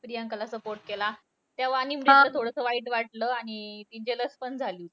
प्रियांकाला support केला. तेव्हा आणि तिला थोडंसं वाईट वाटलं आणि अं jealous पण झाली.